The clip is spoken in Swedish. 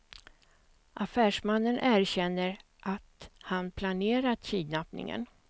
Affärsmannen erkänner att han planerat kidnappningen.